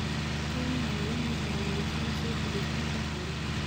Kenya waa inay horumarisaa suuqa dhoofinta xoolaha.